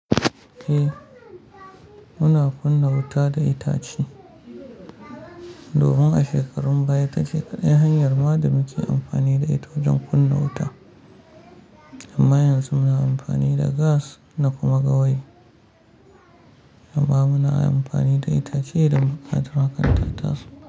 Eh, muna kunna wuta da itace. Dohun a shekarun baya ta shekaru, yan hanyar ma da muke amfani da ita wajen kunna wuta. Amma yanzu muna amfani da gas na kuma gawayi. Amma muna amfani da itace idan buƙatar hakan ta ta so.